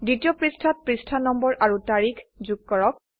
দ্বিতীয় পৃষ্ঠাত পৃষ্ঠা নম্বৰ আৰু তাৰিখ যোগ কৰক